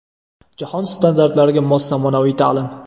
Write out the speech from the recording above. Jahon standartlariga mos zamonaviy ta’lim.